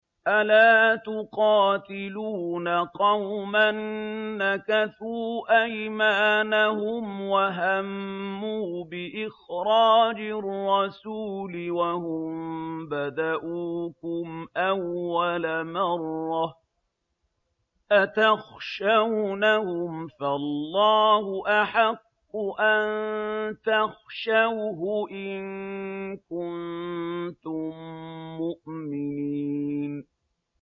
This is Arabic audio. أَلَا تُقَاتِلُونَ قَوْمًا نَّكَثُوا أَيْمَانَهُمْ وَهَمُّوا بِإِخْرَاجِ الرَّسُولِ وَهُم بَدَءُوكُمْ أَوَّلَ مَرَّةٍ ۚ أَتَخْشَوْنَهُمْ ۚ فَاللَّهُ أَحَقُّ أَن تَخْشَوْهُ إِن كُنتُم مُّؤْمِنِينَ